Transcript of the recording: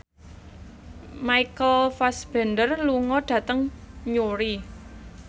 Michael Fassbender lunga dhateng Newry